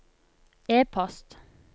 e-post